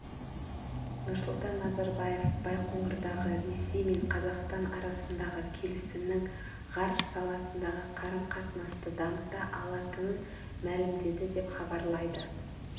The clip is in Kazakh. нұрсұлтан назарбаев байқоңырдағы ресей мен қазақстан арасындағы келісімнің ғарыш саласындағы қарым-қатынасты дамыта алатынын мәлімдеді деп хабарлайды